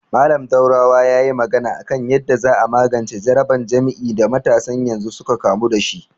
Mallam Daurawa yayi magana a kan yanda za a magance jaraban jima'i da matasan yanzu suka kamu dashi